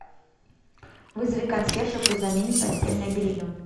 вызови консьержа пусть заменит постельное белье